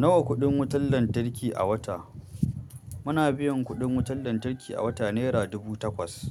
Nawa kuɗin wutar lantarki a wata? Muna biyan kuɗin wutar lantarki a wata naira dubu takwas.